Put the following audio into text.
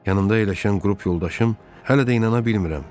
Yanımda əyləşən qrup yoldaşım hələ də inana bilmirəm.